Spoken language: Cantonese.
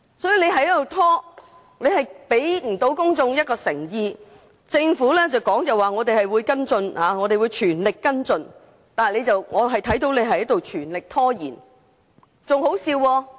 當局這樣拖延，根本不能向公眾展示其解決問題的誠意，空說全力跟進，但我們只看到你們在全力拖延。